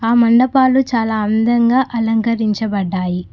ఆ మండపాలు చాలా అందంగా అలంకరించబడ్డాయి.